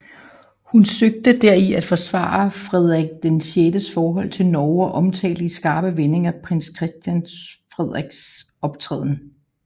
Hun søgte deri at forsvare Frederik VIs forhold til Norge og omtalte i skarpe vendinger prins Christian Frederiks optræden